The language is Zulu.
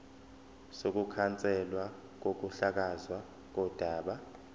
sokukhanselwa kokuhlakazwa kodaba